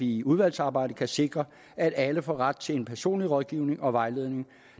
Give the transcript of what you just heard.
i udvalgsarbejdet kan sikre at alle får ret til en personlig rådgivning og vejledning